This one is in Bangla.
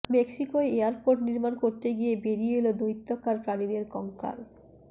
মেক্সিকোয় এয়ারপোর্ট নির্মাণ করতে গিয়ে বেরিয়ে এল দৈত্যাকার প্রাণীদের কঙ্কাল